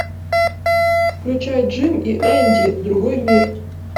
включай джим и энди другой мир